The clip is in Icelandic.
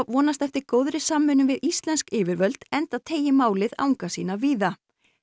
vonast eftir góðri samvinnu við íslensk yfirvöld enda teygi málið anga sína víða